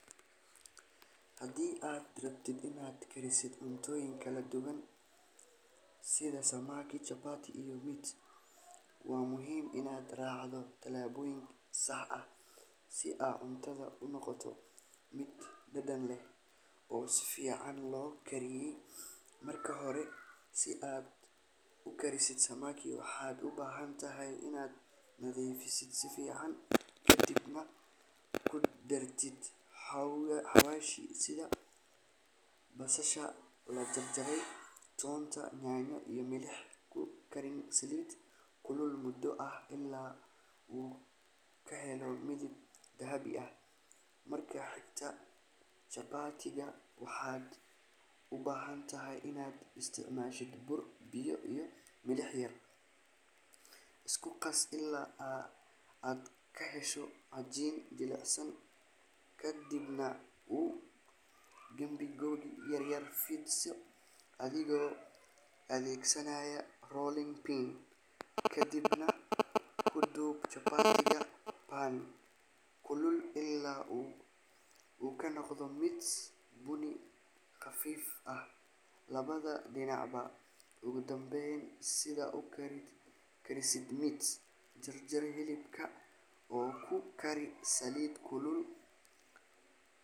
Haddii aad rabto inaad karisid cuntooyin kala duwan sida samaki, chapati iyo meat, waa muhiim inaad raacdo tallaabooyin sax ah si ay cuntadu u noqoto mid dhadhan leh oo si fiican loo kariyey. Marka hore, si aad u karisid samaki, waxaad u baahan tahay inaad nadiifisid si fiican, ka dibna ku darto xawaashyo sida basasha la shiiday, toonta, yaanyo, iyo milix. Ku kari saliid kulul muddo ah ilaa uu ka helo midab dahabi ah. Marka xigta, chapati-ga waxaad u baahan tahay inaad isticmaashid bur, biyo iyo milix yar. Isku qas ilaa aad ka hesho cajiin jilicsan, ka dibna u qaybi googo' yar yar, fidsi adigoo adeegsanaya rolling pin kadibna ku dub chapati-ga pan kulul ilaa uu ka noqdo mid bunni khafiif ah labada dhinacba. Ugu dambeyn, si aad u karisid meat, jarjar hilibka oo ku kari saliid kulul.